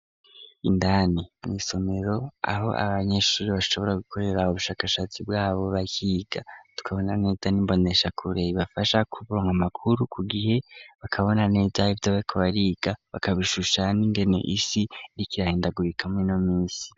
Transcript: Indani mw'isomero aho abanyeshuri bashobora gukoreraabo ubushakashatsi bwabo bahiga tukabona neza nimbonesha kureyi bafasha kubrama amakuru ku gihe bakabona nedvdobekbariga bakabishusha n'ingene isi ntikirahindagurikame no minsi.